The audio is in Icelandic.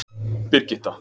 Birgitta